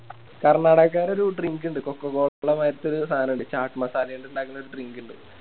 കർണ്ണാടകക്കാരെ ഒരു Drink ഇണ്ട് Cocola മാരിത്തൊരു സാനം ഇണ്ട് ചാക്ക് Masala ല് ഇണ്ടാക്കുന്ന ഒര് Drink ഇണ്ട്